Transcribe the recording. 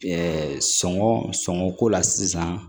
sɔngɔ sɔngɔ ko la sisan